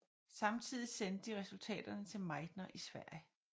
Samtidigt sendte de resultaterne til Meitner i Sverige